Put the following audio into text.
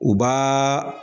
U b'aa